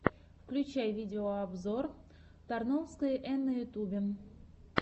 включай видеообзор тарновской эн на ютюбе